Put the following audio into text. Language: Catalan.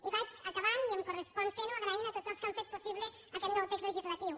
i vaig acabant i em correspon fent ho donant les gràcies a tots els que han fet possible aquest nou text legislatiu